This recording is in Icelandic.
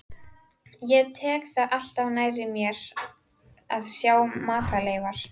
Ég tek það alltaf nærri mér að sjá matarleifar.